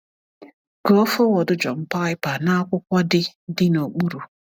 Gụọ foreword John Piper n’akwụkwọ dị dị n’okpuru.